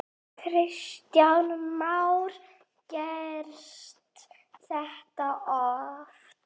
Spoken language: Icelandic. Kristján Már: Gerist þetta oft?